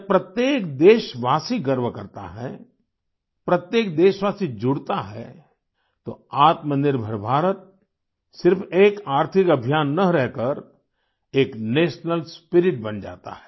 जब प्रत्येक देशवासी गर्व करता है प्रत्येक देशवासी जुड़ता है तो आत्मनिर्भर भारत सिर्फ एक आर्थिक अभियान न रहकर एक नेशनल स्पिरिट बन जाता है